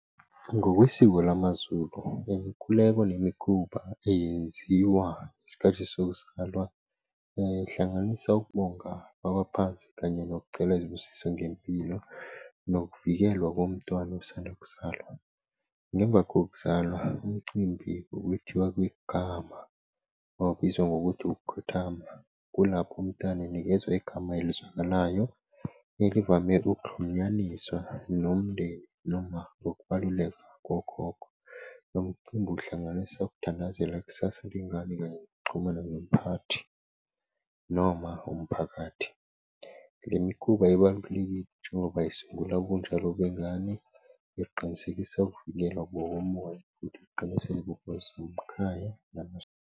Ngokwesiko lama Zulu, imikhuleko nemikhuba eyenziwa isikhathi sokuzalwa ihlanganisa ukubonga kwabaphansi, kanye nokucela izibusiso ngempilo nokuvikelwa komntwana osanda kuzalwa. Ngemva kokuzalwa umcimbi, ukuthiwa kwegama wawubizwa ngokuthi ukukhothama kulapho umntwana inikezwa igama elizwakalayo elivame ukuxhunyaniswa nomndeni noma ngokubaluleka kokhokho. Lomcimbi uhlanganisa ukuthandazelwa ikusasa lengane kanye nokuxhumana nomphathi noma umphakathi. Lemikhuba ebantwini kuthiwa bayisungula ubunjalo bengane eqinisekisa ukuvikelwa ngokomoya .